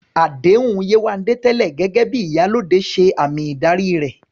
Àdéhùn Yewande tẹ́lẹ̀ gẹ́gẹ́ bí "Iyalode" ṣe àmì ìdarí rẹ̀